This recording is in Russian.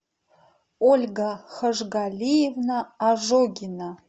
ольга хажгалиевна ожогина